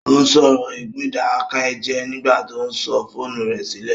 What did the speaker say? Ó sọ̀rọ̀ ègún ìdákẹ́jẹ́ẹ́ nígbà tó sọ fóònù rẹ̀ sílẹ̀